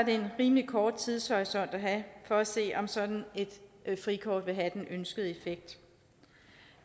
en rimelig kort tidshorisont at have for at se om sådan et frikort vil have den ønskede effekt